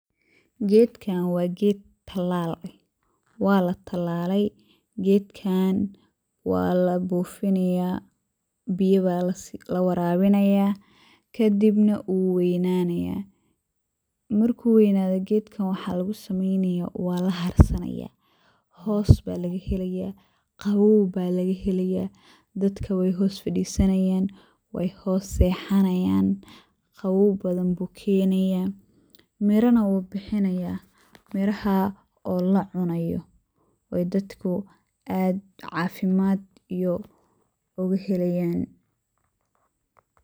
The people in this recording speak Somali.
Gedkan wa ged talal eeh, walatalay walabufinaya biyo aya lawarawinaya kadibna wuweynanaya. Marku weynado gedka waxa lugusameynaya walaharsanaya oo hoos ba lagahelaya, qawoow aya lagahelaya dadka wey hoos fadisanayan, wey hoos sexanayan qawoow badan ayu kenaya mirana wu bixinaya oo lacunayo oo dadku aad cafimad ogahelayan.